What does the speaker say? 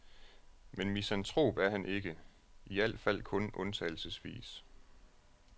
Men misantrop er han ikke, i alt fald kun undtagelsesvis.